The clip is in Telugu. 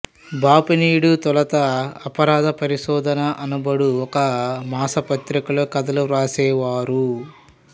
బాపినీడు తొలుత అపరాధ పరిశోధన అనబడు ఒక మాసపత్రికలో కథలు వ్రాసేవారు